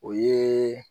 O ye